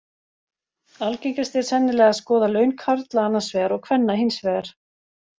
Algengast er sennilega að skoða laun karla annars vegar og kvenna hins vegar.